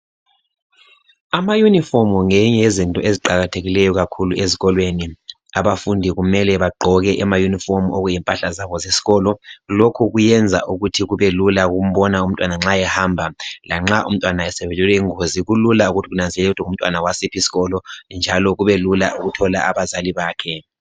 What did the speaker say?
Ama-uniform ngenye yezinto eziqakathekileyo kakhulu ezikolweni. Abafundi kumele bagqoke ama-uniform okuyimpahla yabo yesikolo. Lokhu kuyenza ukuthi kubelula ukumbona umntwana nxa ehamba. Lanxa umntwana esewelwe yingozi, kulula ukuthi kunanzelelwe ukuthi ngumntwana wasiphi isikolo, njalo kubelula lokuthola abazali bakhe.